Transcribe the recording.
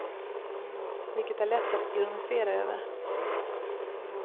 Vilket är lätt att ironisera över.